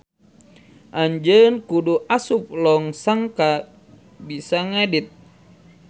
Anjeun kudu asup log sangkan bisa ngedit.